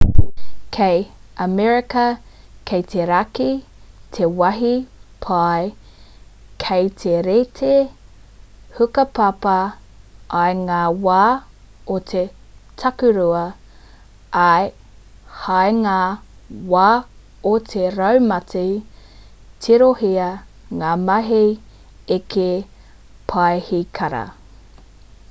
kei amerika ki te raki te wāhi pai ki te reti hukapapa i ngā wā o te takurua ā hei ngā wā o te raumati tirohia ngā mahi eke paihikara